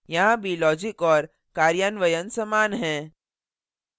यहाँ भी logic और कार्यान्वयन समान हैं